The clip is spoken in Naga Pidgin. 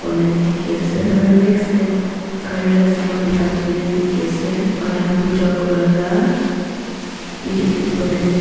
aro next tae gari la saman bika shina dikhiase aro taikhan buja kurila bi edu banai na di.